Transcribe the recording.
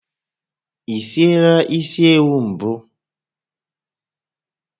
Ị siela isi ewu mbụ?